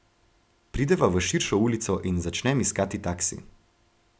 Prideva v širšo ulico in začnem iskati taksi.